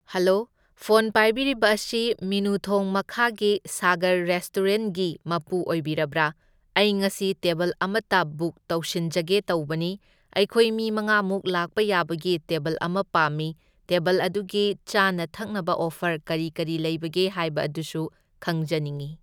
Hello, phone ꯄꯥꯏꯕꯤꯔꯤꯕ ꯑꯁꯤ ꯃꯤꯅꯨꯊꯣꯡ ꯃꯈꯥꯒꯤ ꯁꯥꯒꯔ ꯔꯦꯁꯇꯨꯔꯦꯟꯒꯤ ꯃꯄꯨ ꯑꯣꯏꯕꯤꯔꯕꯔꯥ? ꯑꯩ ꯉꯁꯤ ꯇꯦꯕꯜ ꯑꯃꯇ ꯕꯨꯛ ꯇꯧꯁꯤꯟꯖꯒꯦ ꯇꯧꯕꯅꯤ꯫ ꯑꯩꯈꯣꯏ ꯃꯤ ꯃꯉꯥꯃꯨꯛ ꯂꯥꯛꯄ ꯌꯥꯕꯒꯤ ꯇꯦꯕꯜ ꯑꯃ ꯄꯥꯝꯢ, ꯇꯦꯕꯜ ꯑꯗꯨꯒꯤ ꯆꯥꯅ ꯊꯛꯅꯕ ꯑꯣꯐꯔ ꯀꯔꯤ ꯀꯔꯤ ꯂꯩꯕꯒꯦ ꯍꯥꯢꯕ ꯑꯗꯨꯁꯨ ꯈꯪꯖꯅꯤꯡꯢ꯫